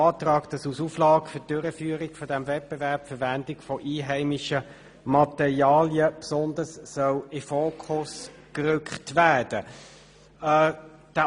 Der Antrag beinhaltet, dass als Auflage zur Durchführung dieses Wettbewerbs die Verwendung einheimischer Materialien besonders in den Fokus gerückt werden soll.